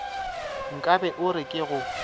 nkabe o re ke go